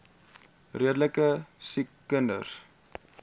redelike siek kinders